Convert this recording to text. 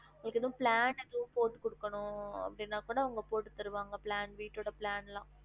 உங்களுக்கு ஏதும் plan எதும் போட்டு குடுக்கணும் அப்டினா கூட அவங்க போட்டு தருவாங்க plan வீட்டு ஓட plan ல்லாம்